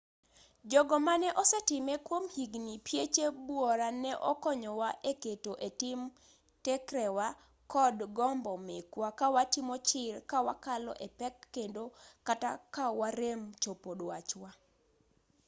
jogo mane osetime kuom higni pieche buora ne okonyowa e keto e tim tekrewa kod gombo mekwa ka watimo chir ka wakalo e pek kendo kata ka warem chopo dwachwa